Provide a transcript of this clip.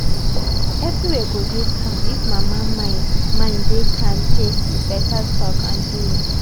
everywhere go dey calm if mama mind mind dey kampe with beta talk and doings